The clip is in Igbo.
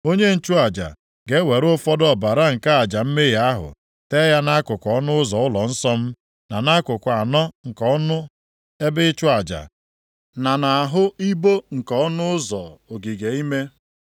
Onye nchụaja ga-ewere ụfọdụ ọbara nke aja mmehie ahụ tee ya nʼakụkụ ọnụ ụzọ ụlọnsọ m, na nʼakụkụ anọ nke ọnụ ebe ịchụ aja, na nʼahụ ibo nke ọnụ ụzọ ogige ime.